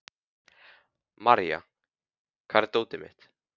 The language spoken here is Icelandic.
Marja, hvar er dótið mitt?